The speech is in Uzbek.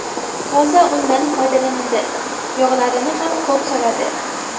Toza undan foydalanadi, yog‘larini ham ko‘p soladi.